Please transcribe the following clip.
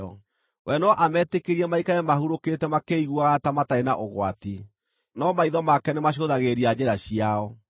We no ametĩkĩrie maikare mahurũkĩte makĩĩiguaga ta matarĩ na ũgwati, no maitho make nĩmacũthagĩrĩria njĩra ciao.